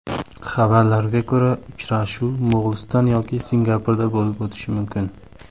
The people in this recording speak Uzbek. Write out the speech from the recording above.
Xabarlarga ko‘ra, uchrashuv Mo‘g‘uliston yoki Singapurda bo‘lib o‘tishi mumkin.